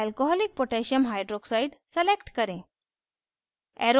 alcoholic potassium hydroxide alc koh select करें